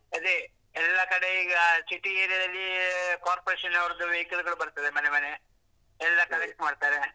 ಅದೇ ಎಲ್ಲ ಕಡೆ ಈಗ city area ದಲ್ಲಿ corporation ಅವರದ್ದು vehicle ಬರ್ತದೆ ಮನೆ ಮನೆ ಎಲ್ಲ collect ಮಾಡ್ತಾರೆ.